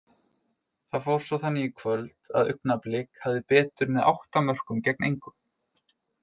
Það fór svo þannig í kvöld að Augnablik hafði betur með átta mörkum gegn engu.